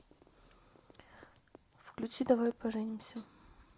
включи давай поженимся